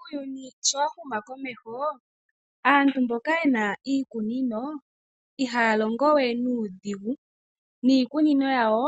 Uuyuni sho wahuma komeho aantu mboka yena iikunino ihaya longo we nuudhigu niikunino yawo